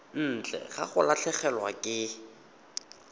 ntle ga go latlhegelwa ke